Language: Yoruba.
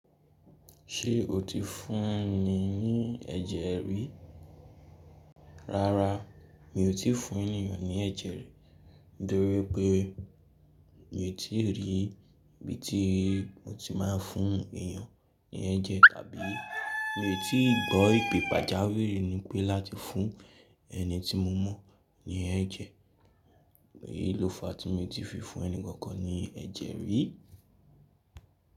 Ṣé o ti fún ni ní ẹ̀jẹ̀ rí? Rárá mi ò tí fún ènìyàn ní ẹjẹ rí, nítorípé mi ò tí rí ibi tí mo ti máa fún ènìyàn ní ẹ̀jẹ̀ tàbí mi ò tí gbọ́ ìpe pajáwiri nípẹ́ láti fún ẹni tí mo mọ̀ ní ẹ̀jẹ̀. Èyí ló fa tí mi ti fi fún ẹni kankan ní ẹ̀jẹ̀ rí.